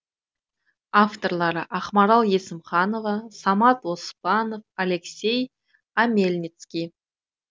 авторлары ақмарал есімханова самат оспанов алексей омельницкий